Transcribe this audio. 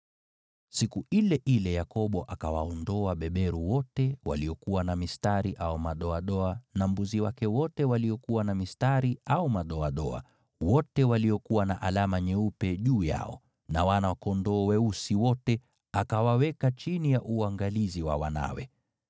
Siku ile ile Yakobo akawaondoa beberu wote waliokuwa na mistari au madoadoa na mbuzi wake wote waliokuwa na mistari au madoadoa (wote waliokuwa na alama nyeupe juu yao) na wana-kondoo weusi wote, akawaweka chini ya uangalizi wa wanawe.